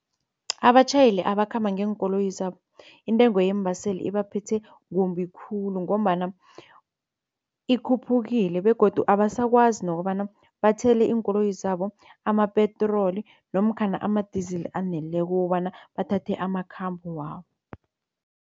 Abatjhayeli abakhamba ngeenkoloyi zabo intengo yeembaseli ibaphethe kumbi khulu ngombana ikhuphukile begodu abasakwazi nokobana bathele iinkoloyi zabo amapetroli nomkhana ama-diesel aneleko kobana bathathe amakhambo wabo.